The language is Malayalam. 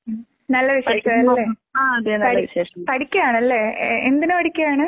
ഉം. നല്ല വിശേഷം അല്ലേ? പഠി പഠിക്കാണല്ലേ? ഏഹ് എന്തിന് പഠിക്കാണ്?